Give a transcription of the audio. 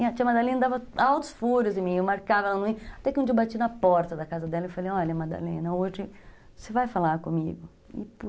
E a tia Madalena dava altos furos em mim, eu marcava ela no meio, até que um dia eu bati na porta da casa dela e falei, olha, Madalena, hoje você vai falar comigo.